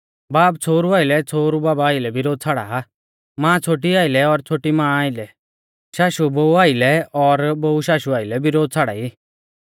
बाब छ़ोहरु आइलै छ़ोहरु बाबा आइलै बिरोध छ़ाड़ा मां छ़ोटी आइलै और छ़ोटी मां आइलै शाशु बोऊ आइलै और बोऊ शाशु आइलै बिरोध छ़ाड़ाई